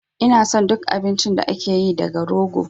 Ina son duk abincin da ake yi daga rogo